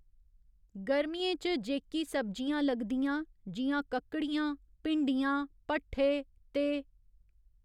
गर्मियें च जेह्की सब्जियां लगदियां जि'यां ककड़ियां, भिंडियां, भठ्ठे ते